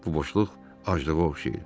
Bu boşluq aclığa oxşayırdı.